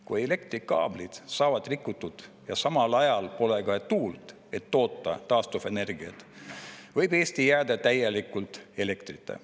Kui elektrikaablid saavad rikutud ja samal ajal pole tuult, et toota taastuvenergiat, võib Eesti jääda täielikult elektrita.